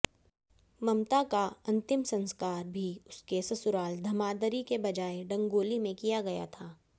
ममता का अंतिम संस्कार भी उसके ससुराल धमांदरी की बजाए डंगोली में किया गया था